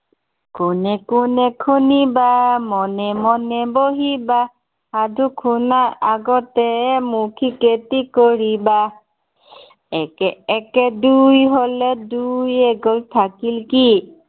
কোনে কোনে শুনিবা, মনে মনে বহিবা। সাদু শুনাৰ আগতে মৌখিক এটি কৰিবা। একে একে দুই হলে, দুইৰ এক গল থাকিল কি?